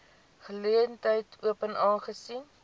geleentheid open aangesien